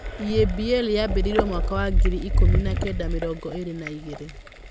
EABL yambĩrĩirio mwaka wa ngiri ikũmi na kenda mĩrongo ĩĩrĩ na igĩrĩ.